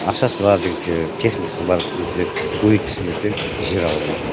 ақшасы бар жігіттер техникасы бар жігіттер көбейткісі келсе жер ала алмайды